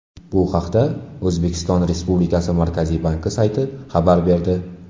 Bu haqda O‘zbekiston Respublikasi Markaziy banki sayti xabar berdi .